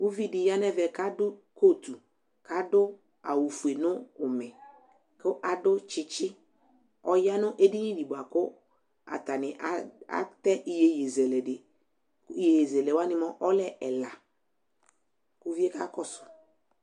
uvidiyanemé kadu kot ɑduawu foue nuoume ɑdu tsitsi ɔya nu ɛdinidi buaku ɑteiyiye zéle iyiyizelewani ɔlẽ eɛya ouvie kakosu